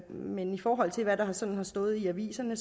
men i forhold til hvad der sådan har stået i aviserne